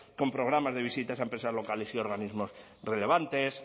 con programas de visitas a empresas locales y organismos relevantes